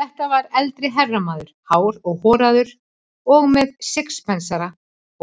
Þetta var eldri herramaður, hár og horaður og með sixpensara